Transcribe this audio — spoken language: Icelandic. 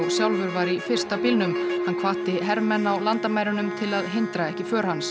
sjálfur var í fyrsta bílnum hann hvatti hermenn á landamærunum til að hindra ekki för hans